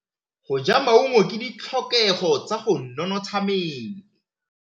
Go ja maungo ke ditlhokegô tsa go nontsha mmele.